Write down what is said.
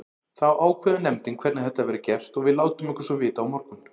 Þá ákveður nefndin hvernig þetta verður gert og við látum ykkur svo vita á morgun.